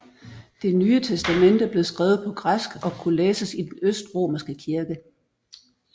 Det Nye Testamente blev skrevet på græsk og kunne læses i den østromerske kirke